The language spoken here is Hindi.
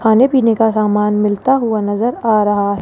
खाने पीने का सामान मिलता हुआ नजर आ रहा है।